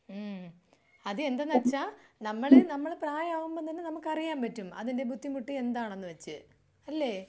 ഉം അതെന്തെന്ന് വച്ചാ നമ്മൾ നമ്മൾ പ്രായമാകുമ്പോ തന്നെ നമ്മക്ക് അറിയാൻ പറ്റും. അതിന്റെ ബുദ്ധിമുട്ട് എന്താണെന്ന് വെച്ച്. അല്ലേ?